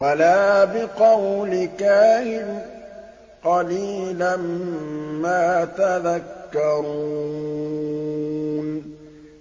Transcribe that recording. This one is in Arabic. وَلَا بِقَوْلِ كَاهِنٍ ۚ قَلِيلًا مَّا تَذَكَّرُونَ